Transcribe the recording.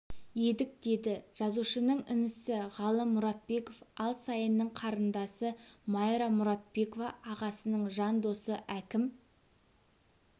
едік деді жазушының інісі ғалым мұратбеков ал сайынның қарындасы майра мұратбекова ағасының жан досы әкім